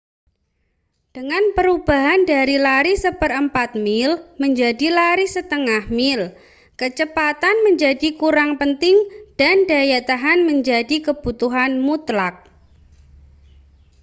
dengan perubahan dari lari seperempat mil menjadi lari setengah mil kecepatan menjadi kurang penting dan daya tahan menjadi kebutuhan mutlak